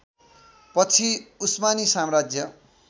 पछि उस्मानी साम्राज्य